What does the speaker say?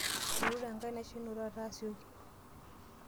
Eirure enkanashe ino taata asioki.